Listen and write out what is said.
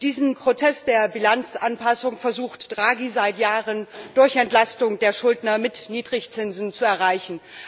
Diesen Prozess der Bilanzanpassung versucht Draghi, seit Jahren durch Entlastung der Schuldner mit Niedrigzinsen zu erreichen.